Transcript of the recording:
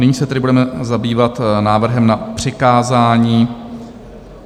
Nyní se tedy budeme zabývat návrhem na přikázání.